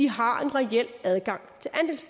har en reel adgang